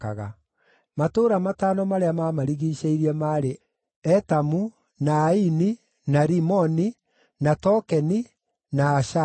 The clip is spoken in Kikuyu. Matũũra matano marĩa maamarigiicĩirie maarĩ: Etamu, na Aini, na Rimoni, na Tokenina Ashani,